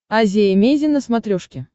азия эмейзин на смотрешке